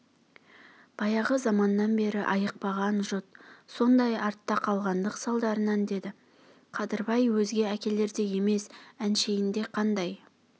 баяғы заманнан бері айықпаған жұт сондай артта қалғандық салдарынан деді қадырбай өзге әкелердей емес әншейінде қандай